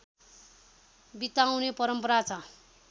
बिताउने परम्परा छ